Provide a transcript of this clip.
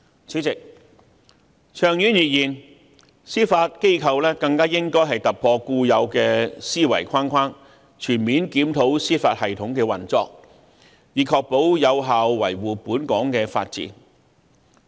主席，長遠而言，司法機構更應突破固有的思維框框，全面檢討司法系統的運作，以確保有效維護本港的法治。